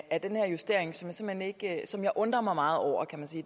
af den her justering som jeg undrer mig meget over